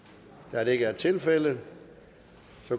da det ikke er tilfældet